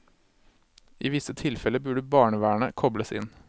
I visse tilfeller burde barnevernet kobles inn.